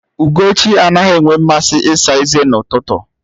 Ugochi anaghị enwe mmasị ịsa eze n'ụtụtụ